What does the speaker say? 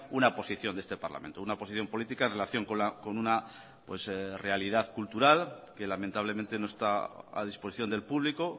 una posición de este parlamento una posición política en relación con una realidad cultural que lamentablemente no está a disposición del público